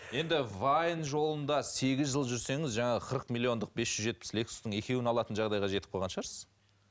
енді вайн жолында сегіз жыл жүрсеңіз жаңағы қырық миллиондық бес жүз жетпіс лексустың екеуін алатын жағдайға жетіп қалған шығарсыз